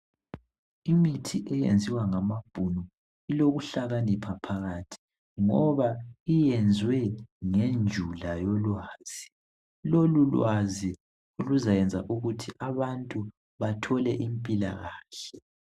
Imithi eyenziwa ngamabhunu ilokuhlakanipha phakathi ngoba iyenziwe ngendlela yolwazi. Lolulwazi luzayenza ukuthi abantu bathole impilakahle.